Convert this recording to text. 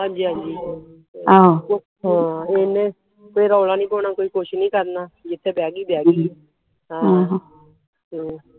ਹਾਂਜੀ ਹਾਂਜੀ ਹਾਂ ਇਹਨੇ ਰੌਲਾ ਨਹੀਂ ਪਾਉਣਾ ਕੋਈ ਕੁਝ ਨਹੀਂ ਕਰਨਾ ਜਿਥੇ ਬਹਿ ਗਈ ਬਹਿ ਗਈ ਹਮ